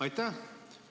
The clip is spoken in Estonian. Aitäh!